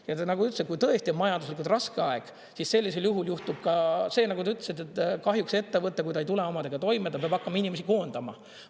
Ja üldse, kui tõesti on majanduslikult raske aeg, siis sellisel juhul juhtub ka see, nagu sa ütlesid, et kahjuks ettevõte, kui ta ei tule omadega toime, ta peab hakkama inimesi koondama.